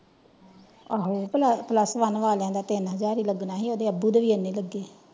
ਆਹੋ plus one ਵਾਲਿਆਂ ਦਾ ਇੰਨਾ ਹੀ ਲਗਣਾ ਸੀ ਓਹਦੇ ਬੱਬੂ ਦੇ ਵੀ ਤਿਨ ਲੱਗੇ।